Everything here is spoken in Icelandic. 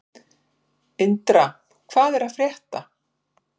Indra, hvað er að frétta?